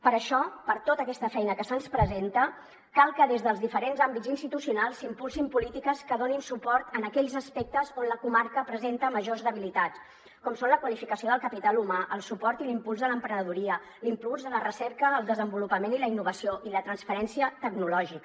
per això per tota aquesta feina que se’ns presenta cal que des dels diferents àmbits institucionals s’impulsin polítiques que donin suport a aquells aspectes on la comarca presenta majors debilitats com són la qualificació del capital humà el suport i l’impuls de l’emprenedoria l’impuls de la recerca el desenvolupament i la innovació i la transferència tecnològica